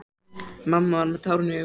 Mamma var með tárin í augunum.